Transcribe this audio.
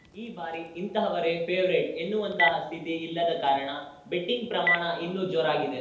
ಈ ಬಾರಿ ಇಂತಹವರೇ ಫೇವರೇಟ್‌ ಎನ್ನುವಂತಹ ಸ್ಥಿತಿ ಇಲ್ಲದ ಕಾರಣ ಬೆಟ್ಟಿಂಗ್‌ ಪ್ರಮಾಣ ಇನ್ನೂ ಜೋರಾಗಿದೆ